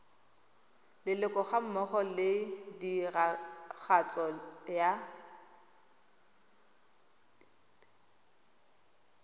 leloko gammogo le tiragatso ya